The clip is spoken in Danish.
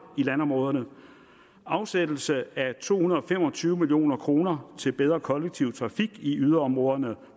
i landområderne afsættelse af to hundrede og fem og tyve million kroner til bedre kollektiv trafik i yderområderne